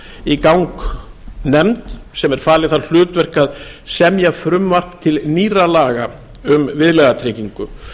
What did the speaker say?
í gang nefnd sem er falið það hlutverk að semja frumvarp til nýrra laga um viðlagatryggingu